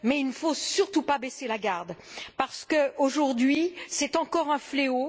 mais il ne faut surtout pas baisser la garde, parce qu'aujourd'hui, c'est encore un fléau.